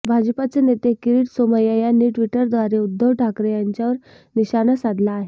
भाजपाचे नेते किरीट सोमय्या यांनी ट्विटरद्वारे उद्धव ठाकरे यांच्यावर निशाणा साधला आहे